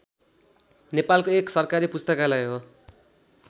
नेपालको एक सरकारी पुस्तकालय हो